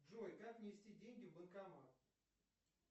джой как внести деньги в банкомат